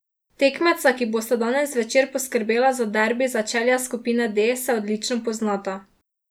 Tekmeca, ki bosta danes zvečer poskrbela za derbi začelja skupine D, se odlično poznata.